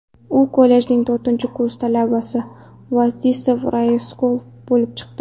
U kollejning to‘rtinchi kurs talabasi Vladislav Roslyakov bo‘lib chiqdi.